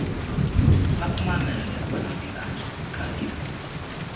bakumamele abanamhlanje baqalekisiwe